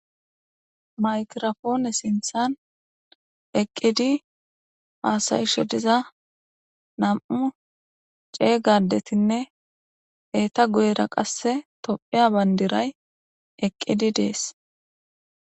Maykirofoone sinthan eqqidi haasayishe diza nam7u ceega adetinne eeta guyera qasse tophiya bandiray eqqidi dees.